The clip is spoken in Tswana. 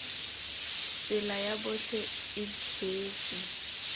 tsela ya botlhe e beetswe